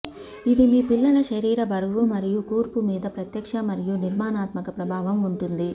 ఇది మీ పిల్లల శరీర బరువు మరియు కూర్పు మీద ప్రత్యక్ష మరియు నిర్మాణాత్మక ప్రభావం ఉంటుంది